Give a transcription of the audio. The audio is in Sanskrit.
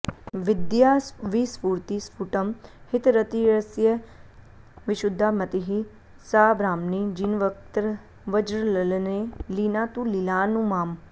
विद्या विस्फुरति स्फुटं हितरतिर्यस्या विशुद्धा मतिः सा ब्राह्मी जिनवक्त्रवज्रललने लीना तु लीलानु माम्